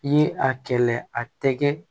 I ye a kɛlɛ a tɛgɛ